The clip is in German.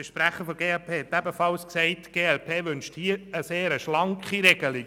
Der Sprecher der glp sagte ebenfalls, die glp wünsche in diesem Bereich eine sehr schlanke Regelung.